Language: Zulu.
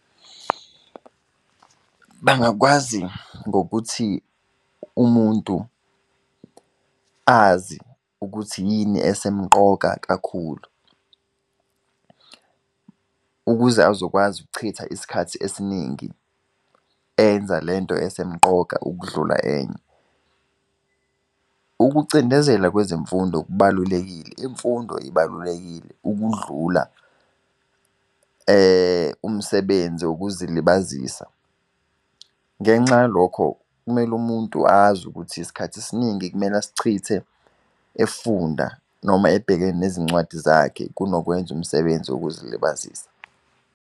Bangakwazi ngokuthi umuntu azi ukuthi yini esemqoka kakhulu, ukuze azokwazi ukuchitha isikhathi esiningi enza lento esemqoka ukudlula enye. Ukucindezela kwezemfundo kubalulekile, imfundo ibalulekile ukudlula umsebenzi wokuzilibazisa. Ngenxa yalokho, kumele umuntu azi ukuthi isikhathi esiningi kumele asichithe efunda, noma ebhekene nezincwadi zakhe kunokwenza umsebenzi wokuzilibazisa.